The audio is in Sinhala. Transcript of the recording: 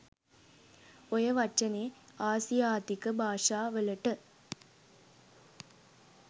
ඔය වචනේ ආසියාතික භාෂාවලට